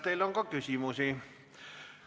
Teile on ka küsimusi.